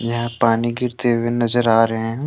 यहां पानी गिरते हुए नजर आ रहे हैं।